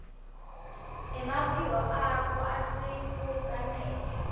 emaphiko akho asifukamela